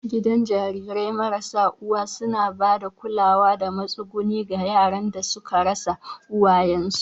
Gidan jarirai mara uwa suna ba da kulawa da matsuguni ga yaran da suka rasa uwayensu.